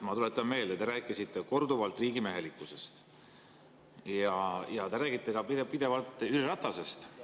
Ma tuletan meelde, et te rääkisite korduvalt riigimehelikkusest ja te räägite pidevalt ka Jüri Ratasest.